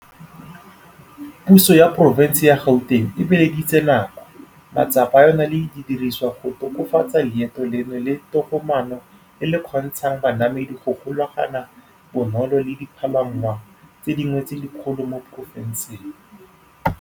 Puso ya Porofense ya Gauteng e beeleditse nako, matsapa a yona le didirisiwa go tokafatsa leeto leno la togomaano le le kgontsha ng banamedi go golagana bonolo le dipalangwa tse dingwe tse dikgolo mo porofenseng.